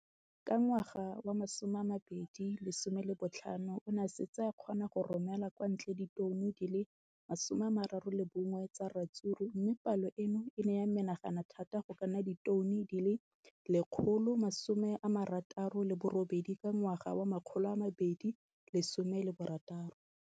Ka ngwaga wa 2015, o ne a setse a kgona go romela kwa ntle ditone di le 31 tsa ratsuru mme palo eno e ne ya menagana thata go ka nna ditone di le 168 ka ngwaga wa 2016.